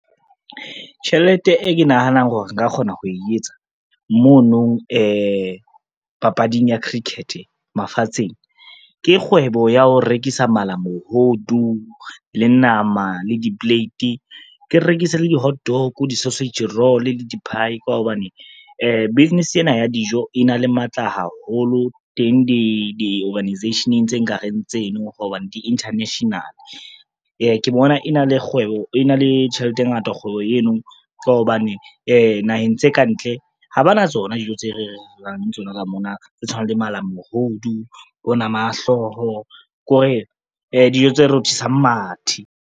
Tjhelete e ke nahanang hore nka kgona ho e etsa mono papading ya cricket mafatsheng, ke kgwebo ya ho rekisa malamohodu le nama le di-plate. Ke rekise le di-hotdog, di-sausage roll, di-pie, ka hobane business ena ya dijo e na le matla haholo teng di-organisation-eng tse nkareng tseno, hobane di-international. Ke bona e na le tjhelete e ngata kgwebo eno ka hobane naheng tse kantle ha ba na tsona dijo tse re reng re na le tsona ka mona, tse tshwanang le malamohodu, bo nama ya hlooho ko re dijo tse rothisang mathe.